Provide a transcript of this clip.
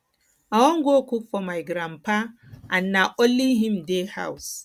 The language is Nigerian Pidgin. i wan go cook for my grandpa and na only him dey house